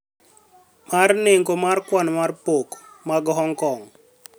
mar nengo mar kwan mar pok mag Hong Kong,